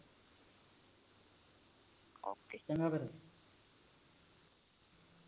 ਚੰਗਾ ਫੇਰ